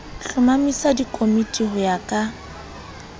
hlomamisa dikomiti ho ya ka